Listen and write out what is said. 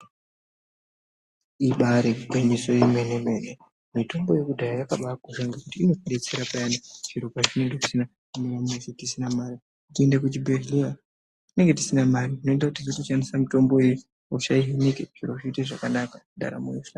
Ibairi ngwinyiso yemene mene mitombo yekudhaya yakabai kosha ngekuti inoti detsera payani zviro pa zvinenge zvisina kumira mushe tisina mari tiende ku chibhedhleya tinenge tisina mari inoita kuti tizo shandisa mitombo iyi hosha ihineke zviro zvi ite zvakanaka ndaramo yo hlamburuka.